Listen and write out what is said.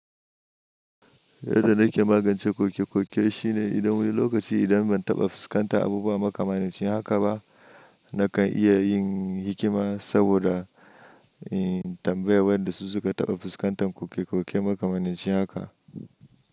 Yadda na ke magance koke koke shine idan wani lokaci idan ban taɓa fuskantar abubuwa makamancin haka ba, nakan iya yin hikima saboda tambaya wanda su suka taɓa fuskantar koke koke makamancin haka.